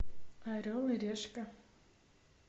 орел и решка